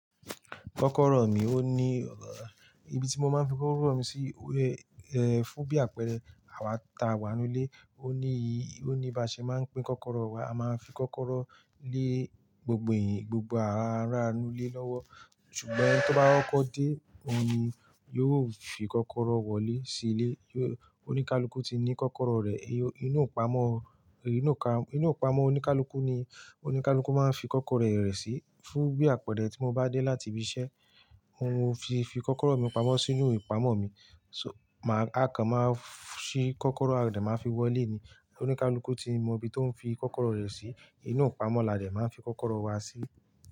Kọ́kọ́rọ́ mi ó ní, ibi tí mo máa ń fi kọ́kọ́rọ́ mi sí, ẹ́ fún bí àpẹ̀rẹ̀ àwa ta, àwa nu ilé, ó ní ì, ó ní bí a ṣe máa ń pín kọ́kọ́rọ́ wa, a máa fi kọ́kọ́rọ́ lé gbogbo ẹ̀yin, gbogbo ará nu ilé lọ́wọ́. Ṣùgbọ́n tó bá kọ́ko dé, òun ni yóò fi kọ́kọ́rọ́ wọlé sí ilé. Ó ní kálukú tí ní kọ́kọ́rọ́ rẹ̀, inú ìpamọ́, inú ìpamọ́ oníkálukú ni kálukú máa ń fi kọ́kọ́rọ́ rẹ̀ rẹ̀ sí. Fún bí àpẹ̀rẹ̀ tí mo bá dé láti ibi iṣẹ́, n ó fi kọ́kọ́rọ́ mi pamọ́ sínú ìpamọ́ mi, ṣùgbọ́n máa kan máa ṣí kọ́kọ́rọ́ a dẹ̀ máa fi wọlé ni. Oníkálukú ti mọ ibi tó ń fi kọ́kọ́rọ́ rẹ̀ sí, inú ìpamọ́ la dẹ̀ máa ń fi kọ́kọ́rọ́ wa sí.